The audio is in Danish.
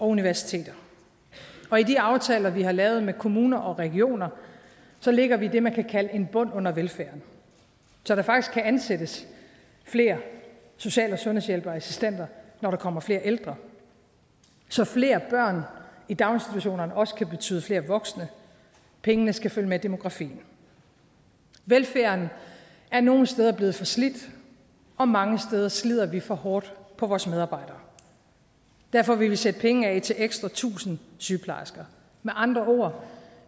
universiteter og i de aftaler vi har lavet med kommuner og regioner lægger vi det man kan kalde en bund under velfærden så der faktisk kan ansættes flere social og sundhedshjælpere og assistenter når der kommer flere ældre så flere børn i daginstitutionerne også kan betyde flere voksne pengene skal følge med demografien velfærden er nogle steder blevet for slidt og mange steder slider vi for hårdt på vores medarbejdere og derfor vil vi sætte penge af til ekstra tusind sygeplejersker med andre ord